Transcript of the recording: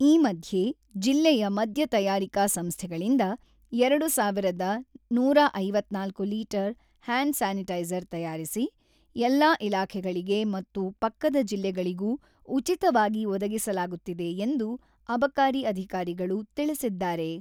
ಈ ಮಧ್ಯೆ ಜಿಲ್ಲೆಯ ಮದ್ಯ ತಯಾರಿಕಾ ಸಂಸ್ಥೆಗಳಿಂದ ಎರಡು ಸಾವಿರದ ನೂರ ಐವತ್ತ್ನಾಲ್ಕು ಲೀಟರ್ ಹ್ಯಾಂಡ್ ಸ್ಯಾನಿಟೈಜರ್ ತಯಾರಿಸಿ, ಎಲ್ಲಾ ಇಲಾಖೆಗಳಿಗೆ ಮತ್ತು ಪಕ್ಕದ ಜಿಲ್ಲೆಗಳಿಗೂ ಉಚಿತವಾಗಿ ಒದಗಿಸಲಾಗುತ್ತಿದೆ ಎಂದು ಅಬಕಾರಿ ಅಧಿಕಾರಿಗಳು ತಿಳಿಸಿದ್ದಾರೆ.